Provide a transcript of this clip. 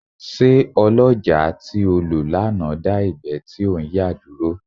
Ṣé ọlọ́jàá tí o lò lánàá dá ìgbẹ́ tí ò ń yà dúró.